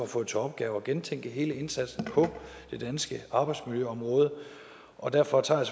fået til opgave at gentænke hele indsatsen på det danske arbejdsmiljøområde og derfor tager